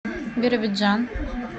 биробиджан